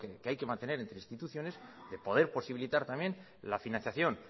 que hay que mantener entre instituciones de poder posibilitar también la financiación